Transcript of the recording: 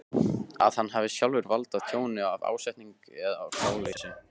að hann hafi sjálfur valdið tjóni af ásetningi eða gáleysi.